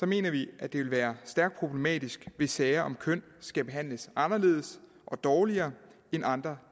mener vi at det vil være stærkt problematisk hvis sager om køn skal behandles anderledes og dårligere end andre